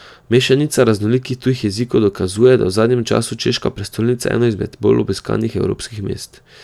Mešanica raznolikih tujih jezikov dokazuje, da je v zadnjem času češka prestolnica eno izmed bolj obiskanih evropskih mest.